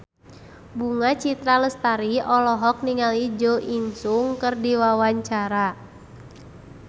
Bunga Citra Lestari olohok ningali Jo In Sung keur diwawancara